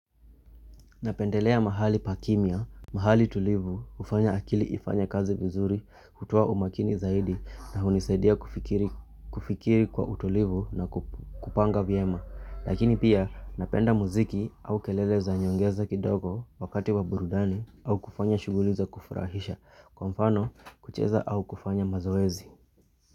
Napendelea mahali pakimya, mahali tulivu, hufanya akili ifanye kazi vizuri, kutoa umakini zaidi na hunisaidia kufikiri kwa utulivu na kupanga vyema. Lakini pia napenda muziki au kelele za nyongeza kidogo wakati wa burudani au kufanya shughuli za kufurahisha, kwa mfano kucheza au kufanya mazoezi.